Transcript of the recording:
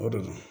O don